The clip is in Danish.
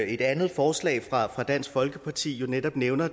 et andet forslag fra dansk folkeparti jo netop nævner